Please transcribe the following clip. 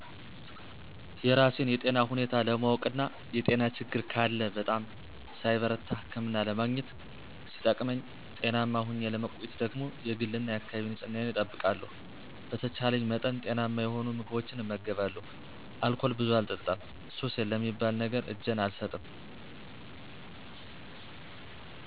የራሴን የጤና ሁኔታ ለማወቅ እና የጤና ችግር ካለ በጣም ሳይበረታ ህክምና ለማግኘት ሲጠቅመኝ ጤናማ ሁኘ ለመቆየትደግሞ የግል እና የአካባቢ ንጽህናየን እጠብቃለሁ፣ በተቻልኝ መጠን ጤናማ የሆኑ ምግቦችን እመገባለሁ፣ አልኮል ብዙ አልጠጣም፣ ሱስ ለሚባል ነገር እጀን አልሰጥም።